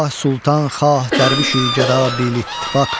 Xah sultan, xah dərviş, gəda bi-ittifaq.